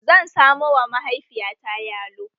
Zan samo wa mahaifiyata yalo